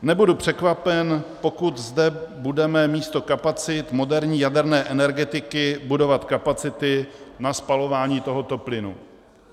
Nebudu překvapen, pokud zde budeme místo kapacit moderní jaderné energetiky budovat kapacity na spalování tohoto plynu.